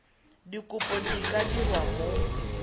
dikopo di ka dirwa mo